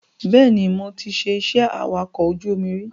Bẹ́ẹ̀ni, mo ti ṣe iṣẹ́ awakọ̀ ojú omi rí